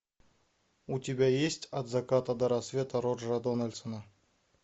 у тебя есть от заката до рассвета роджера дональдсона